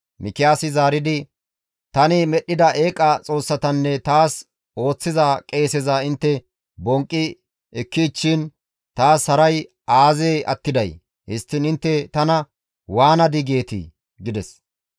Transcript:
Mikiyaasi zaaridi, «Tani medhdhida eeqa xoossatanne taas ooththiza qeeseza intte bonqqi ekkichchiin taas haray aazee attiday? Histtiin intte tana, ‹Waanadii?› geetii?» gides.